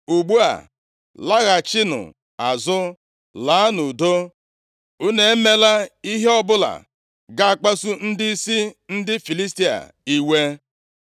Ugbu a, laghachinụ azụ, laa nʼudo. Unu emeela ihe ọbụla ga-akpasu ndịisi ndị Filistia iwe.”